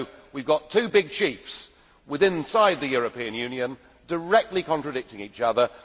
So we have two big chiefs within the European Union directly contradicting each other.